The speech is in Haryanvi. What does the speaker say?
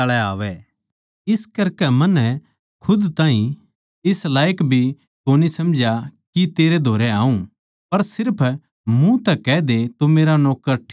इसे करकै मन्नै खुद ताहीं इस लायक भी कोनी समझा के तेरै धोरै आऊँ पर सिर्फ मुँह तै कह दे तो मेरा नौक्कर ठीक हो ज्यागा